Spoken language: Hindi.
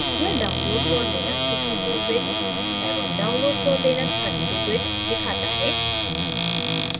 यह download for linux 64 bit एवं download for linux 32 bit दिखाता है